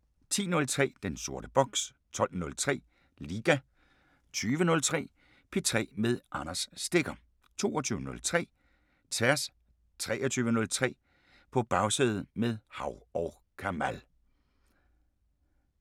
10:03: Den sorte boks 12:03: Liga 20:03: P3 med Anders Stegger 22:03: Tværs 23:03: På Bagsædet – med Hav & Kamal